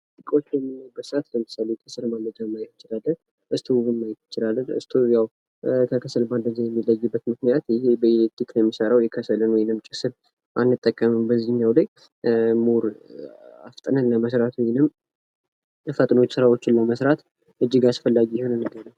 እቄዎችን በምናይበት ሰዓት የከሰል ማንደጃን ማየት እንችላለን። ስቶቮችን ማየት እንችላለን። ስቶቭ ያዉ ከከሰል ማንደጃ የሚለይበት ምክንያት ይሄ በኤሌክትሪክ ኃይል ነዉ የሚሰራዉ የከሰል ወይም ጭስን አይጠቀምም። አፍጥነን ለመስራት ስቶቭን እንጠቀማለን።